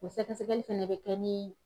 O sɛgɛsɛgɛli fɛnɛ bɛ kɛ ni